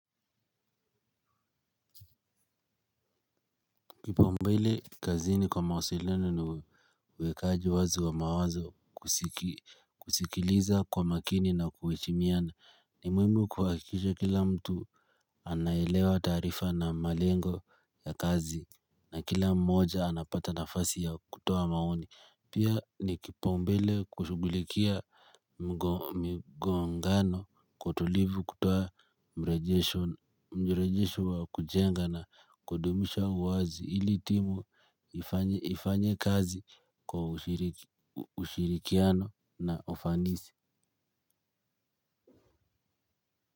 Kipaumbele kazini kwa mawasiliano uwekaji wazi wa mawazo kusikiliza kwa makini na kuheshimiana ni muhimu kuhakikisha kila mtu anaelewa taarifa na malengo ya kazi. Na kila mmoja anapata nafasi ya kutoa maoni. Pia ni kipaumbele kushugulikia migongano kwa utulivu kutoa mrejesho wa kujenga na kudumisha uwazi ili timu ifanye kazi kwa ushirikiano na ufanisi.